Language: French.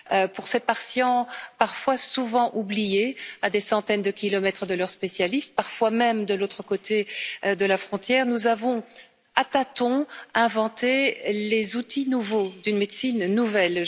Pour ces patients souvent oubliés, à des centaines de kilomètres de leur spécialiste, parfois même de l'autre côté de la frontière, nous avons, à tâtons, inventé les outils nouveaux d'une médecine nouvelle.